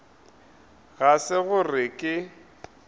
ga se gore ge ke